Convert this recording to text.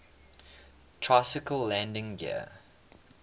tricycle landing gear